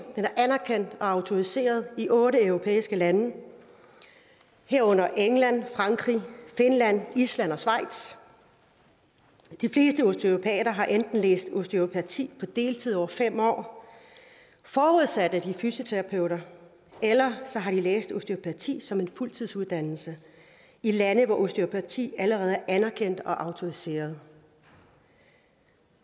er anerkendt og autoriseret i otte europæiske lande herunder england frankrig finland island og schweiz de fleste osteopater har enten læst osteopati på deltid over fem år forudsat at de er fysioterapeuter eller også har de læst osteopati som en fuldtidsuddannelse i lande hvor osteopati allerede er anerkendt og autoriseret